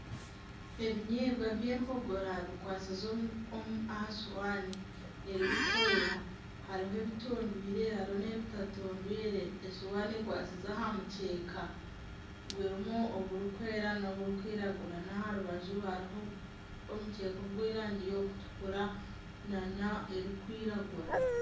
Ebinyebwa by'empogora bikwasize aha sohaani erikwera. Hariho ebitondoirwe hariho n'ebitatondoirwe. Esohaani ekwasize aha mukyeka gurimu oburikwera n'oburikwiragura. N'aha rubaju hariho omukyeka ogw'erangi y'okutukura nana erikwiragura.